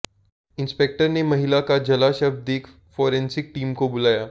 inspector ने महिला का जला शव देख फॉरेंसिक टीम को बुलाया